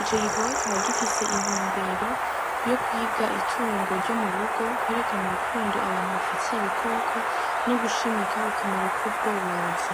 ico gikorwa kikaba gifise intumbero yo kwiga itungo ryo mu rugo kwerekana urukundo abantu bafitiye ibikoko no gushimika akamaro k'ubworozi.